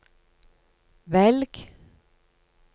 velg